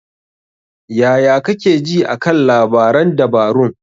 Yaya kake ji a kan labaran dabarun?